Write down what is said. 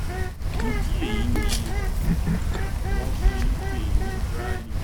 ìdí èyí ni wọn fi npèé ní braille